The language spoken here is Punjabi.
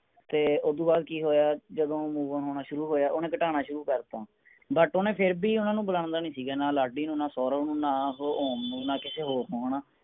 ਤੇ ਓਦੋ ਬਾਅਦ ਕਿ ਹੋਇਆ ਜਦੋ ਉਹ move on ਹੋਣਾ ਸ਼ੁਰੂ ਹੋਇਆ ਓਹਨੇ ਘਟਾਣਾ ਸ਼ੁਰੂ ਕਰਤਾ but ਉਹ ਨਾ ਫੇਰ ਵੀ ਓਹਨਾ ਨੂੰ ਬੁਲਾਂਦਾ ਨਹੀਂ ਸੀਗਾ ਨਾ ਲਾਡੀ ਨੂੰ ਨਾ ਸੌਰਵ ਨਾ ਆਹ ਉਹ ਨਾ ਮੂੰਹ ਨਾਲ ਕਿਸੇ ਹੋਰ ਨੂੰ